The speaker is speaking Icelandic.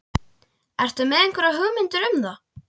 Ertu með einhverjar hugmyndir um það?